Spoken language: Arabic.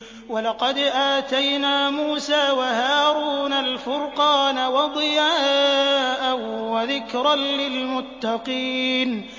وَلَقَدْ آتَيْنَا مُوسَىٰ وَهَارُونَ الْفُرْقَانَ وَضِيَاءً وَذِكْرًا لِّلْمُتَّقِينَ